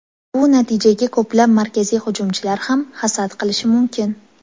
Bu natijaga ko‘plab markaziy hujumchilar ham hasad qilishi mumkin.